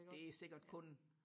det er sikkert kun